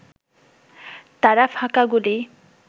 তারা ফাঁকা গুলি